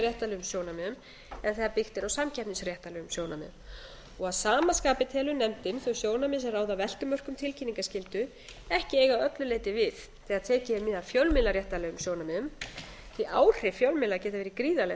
er á fjölmiðlaréttarlegum sjónarmiðum en þegar byggt er á samkeppnisréttarlegum sjónarmiðum að sama skapi telur nefndin þau sjónarmið sem ráða veltumörkum tilkynningarskyldu ekki eiga að öllu leyti við þegar tekið er mið af fjölmiðlaréttarlegum sjónarmiðum því að áhrif fjölmiðla geta verið gríðarleg